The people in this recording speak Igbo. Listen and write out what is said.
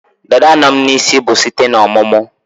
Dada no'm -n'isim bu site n'ọmụmụ